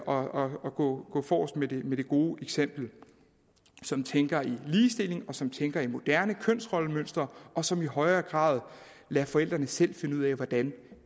og gå forrest med det gode eksempel som tænker i ligestilling som tænker i moderne kønsrollemønstre og som i højere grad lader forældrene selv finde ud af hvordan